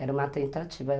Era uma tentativa.